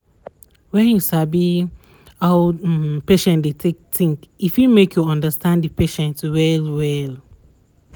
wen you sabi how d um patient dey take think e fit make you understand the patients well well